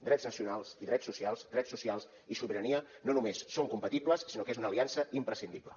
drets nacionals i drets socials drets socials i sobirania no només són compatibles sinó que és una aliança imprescindible